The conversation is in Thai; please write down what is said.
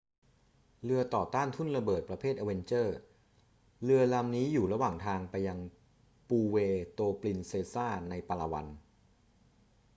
เรือต่อต้านทุ่นระเบิดประเภท avenger เรือลำนี้อยู่ระหว่างทางไปยังปูเวร์โตปรินเซซาในปาลาวัน